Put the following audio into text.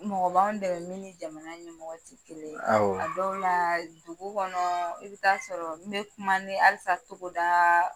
Mɔgɔw b'an dɛmɛ min ni jamana ɲɛmɔgɔ tɛ kelen ye a dɔw la dugu kɔnɔ i bɛ taa sɔrɔ n bɛ kuma ni halisa togoda